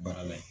Baara la yen